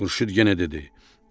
Xurşud yenə dedi: